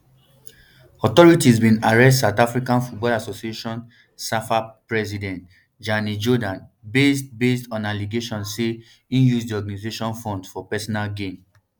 authorities bin arrest south african football association safa president danny jordaan based based on allegations say im use di organisation funds for personal gain